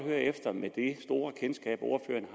med det store kendskab ordføreren